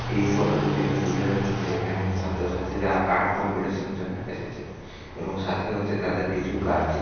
এই ফটোটি দেখে বুঝা যাচ্ছে যে এখানে ছাত্র-ছাত্রীরা আর্ট কম্পিটিশনের জন্যে এসেছে এবং সাথে রয়েছে তাদের কিছু গার্জিয়ান ।